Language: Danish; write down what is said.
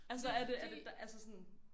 Altså er det er det altså sådan